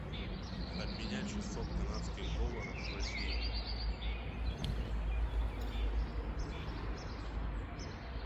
обменять шестьсот канадских долларов в россии